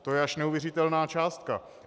To je až neuvěřitelná částka.